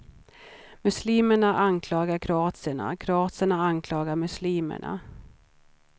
Muslimerna anklagar kroaterna, kroaterna anklagar muslimerna.